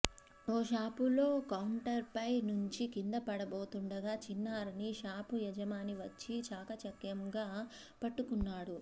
ఓ షాపులో కౌంటర్పై నుంచి కిందపడబోతుండగా చిన్నారిని షాపు యజమాని వచ్చి చాకచక్యంగా పట్టుకున్నాడు